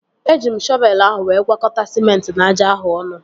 Eji m shọvelu ahụ wee gwakọta sịmenti na aja ahụ ọnụ